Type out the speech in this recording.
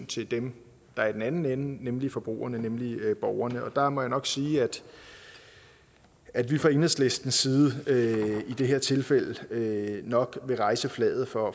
til dem der er i den anden ende nemlig forbrugerne nemlig borgerne og jeg må nok sige at vi fra enhedslistens side i det her tilfælde nok vil rejse flaget for